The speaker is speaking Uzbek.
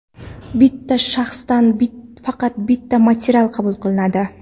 Bitta shaxsdan faqat bitta material qabul qilinadi.